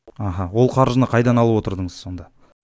аха ол қаржыны қайдан алып отырдыңыз сонда